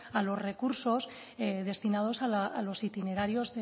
a los recursos destinados a los itinerarios